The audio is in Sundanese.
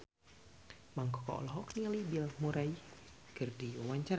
Mang Koko olohok ningali Bill Murray keur diwawancara